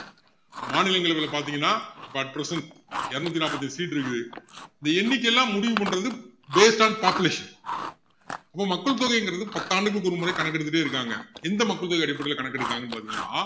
மாநிலங்களவையில பாத்திங்கன்னா at present இருநூத்து நாப்பத்து எட்டு seat இருக்குது இந்த எண்ணிக்கை எல்லாம் முடிவு பண்றது based of population இப்போ மக்கள் தொகைங்குறது பத்து ஆண்டுகளுக்கு ஒருமுறை கணக்கு எடுத்துக்கிட்டே இருக்காங்க எந்த மக்கள் தொகை அடிப்படையில கணக்கு எடுக்கிறாங்கன்னு பாத்திங்கன்னா